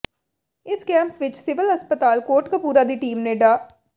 ਇਸ ਕੈਂਪ ਵਿੱਚ ਸਿਵਲ ਹਸਪਤਾਲ ਕੋਟਕਪੂਰਾ ਦੀ ਟੀਮ ਨੇ ਡਾ